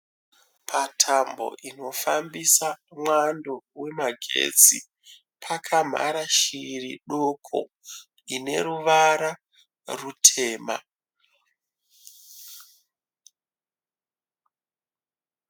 Patambo inofambisa mwando wemagetsi, pakamhara shiri doko ine ruvara rutema.